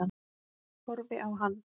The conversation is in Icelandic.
Horfi á hann.